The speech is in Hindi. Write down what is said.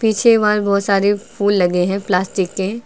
पीछे वॉल बहुत सारे फूल लगे हैं प्लास्टिक के--